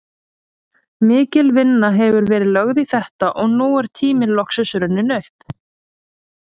Mikil vinna hefur verið lögð í þetta og nú er tíminn loksins runninn upp.